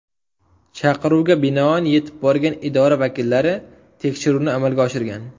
Chaqiruvga binoan yetib borgan idora vakillari tekshiruvni amalga oshirgan.